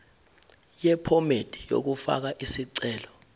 yephomedi yokufaka isicelo